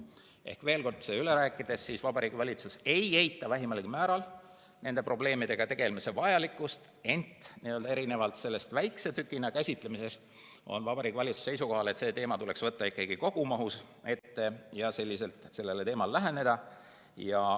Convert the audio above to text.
Ehk veel kord seda üle rääkides: Vabariigi Valitsus ei eita vähimalgi määral nende probleemidega tegelemise vajalikkust, ent erinevalt väikese tükina käsitlemisest on Vabariigi Valitsus seisukohal, et see teema tuleks võtta ikkagi kogumahus ette ja selliselt sellele teemale läheneda.